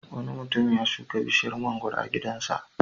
Wani mutum ya shuka bishiyar mangwaro a gidansa.